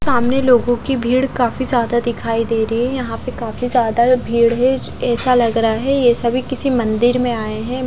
सामने लोगों की भीड़ काफी ज्यादा दिखाई दे रही है यहां पे काफी ज्यादा भीड़ है ऐसा लग रहा है ये सभी किसी मंदिर में आए हैं।